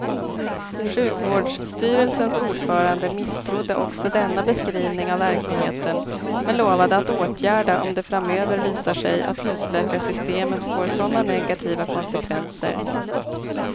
Sjukvårdsstyrelsens ordförande misstrodde också denna beskrivning av verkligheten men lovade att åtgärda om det framöver visar sig att husläkarsystemet får sådana negativa konsekvenser.